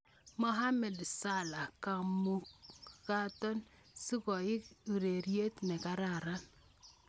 Mohamed Salah: Kimukato ano sikoek urerenindet ne kararan?